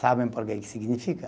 Sabem por que que significa?